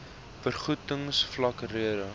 vergoedings vlak rede